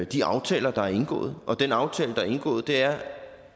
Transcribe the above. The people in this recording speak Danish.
de aftaler der er indgået den aftale der er indgået er